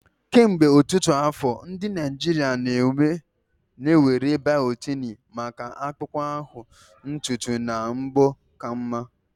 Kemgbe ọtụtụ afọ, ndị Naijiria na-ewere biotini maka akpụkpọ ahụ, ntutu na mbọ ka mma.